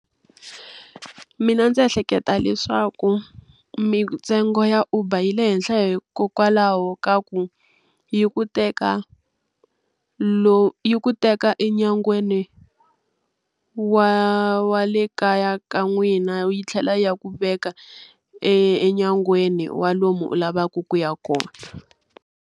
Mina ndzi ehleketa leswaku mintsengo ya Uber yi le henhla hikokwalaho ka ku, yi ku teka yi ku teka enyangweni wa wa le kaya ka n'wina yi tlhela yi ya ku veka enyangweni wa lomu u lavaka ku ya kona.